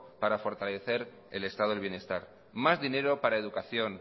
para fortalecer el estado de bienestar más dinero para educación